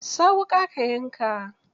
Sa wuƙa ka yanka.